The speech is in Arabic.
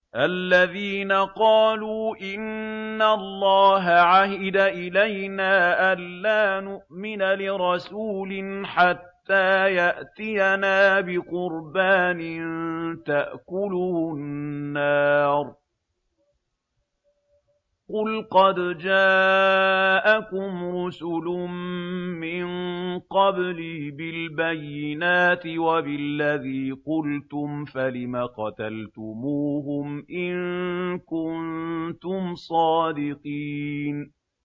الَّذِينَ قَالُوا إِنَّ اللَّهَ عَهِدَ إِلَيْنَا أَلَّا نُؤْمِنَ لِرَسُولٍ حَتَّىٰ يَأْتِيَنَا بِقُرْبَانٍ تَأْكُلُهُ النَّارُ ۗ قُلْ قَدْ جَاءَكُمْ رُسُلٌ مِّن قَبْلِي بِالْبَيِّنَاتِ وَبِالَّذِي قُلْتُمْ فَلِمَ قَتَلْتُمُوهُمْ إِن كُنتُمْ صَادِقِينَ